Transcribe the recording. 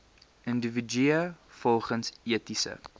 individue volgens etiese